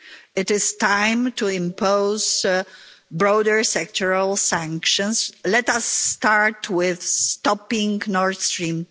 It is time to impose broader sectoral sanctions. Let us start with stopping Nord Stream